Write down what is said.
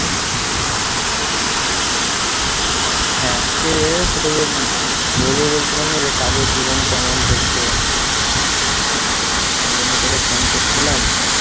হ্যাঁ আজকে তোকে যে বলব বলছিলাম না যে কাজের জীবন কেমন চলছে হ্যাঁ ওই জন্য তোকে phone করছিলাম।